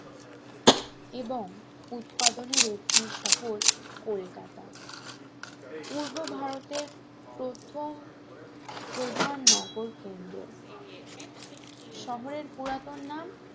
এবং উৎপাদনের একটি শহর কলকাতা পূর্ব ভারতের প্রথম প্রধান নগর কেন্দ্র শহরের পুরাতন নাম